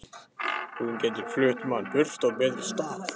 Hún getur flutt mann burt á betri stað.